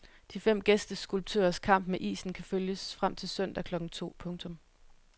De fem gæsteskulptørers kamp med isen kan følges frem til søndag klokken to. punktum